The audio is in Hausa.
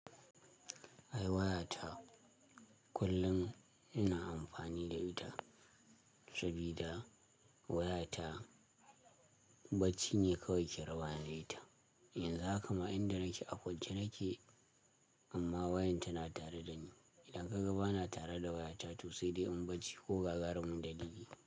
Ai waya ta kullum ina amfani da ita sabida waya ta bacci ne kawai ke rabani da ita. Yanzu haka ma inda nake a kwance nake amma wayan tana tare da ni. Idan ka ga bana tare da waya ta to sai dai in bacci ko gagaru mundali.